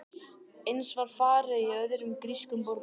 Eins var farið að í öðrum grískum borgum.